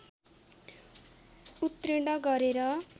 उत्तीर्ण गरेर